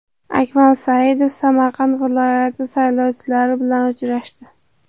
Akmal Saidov Samarqand viloyati saylovchilari bilan uchrashdi.